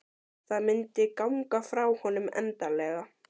Það myndi ganga frá honum endanlega.